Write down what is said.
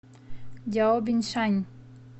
дяобиншань